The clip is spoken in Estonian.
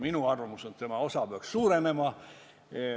Minu arvamus on, et selle osa peaks suurenema.